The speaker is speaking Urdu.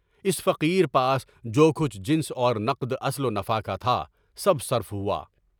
اس فقیرپاس جو کچھ جنس اور نفع اصل و نفع کا تھا، سب صرف ہوا۔